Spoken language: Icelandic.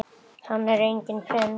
Hann er enginn prins.